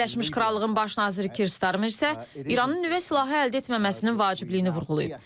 Birləşmiş Krallığın baş naziri Kir Starmer isə İranın nüvə silahı əldə etməməsinin vacibliyini vurğulayıb.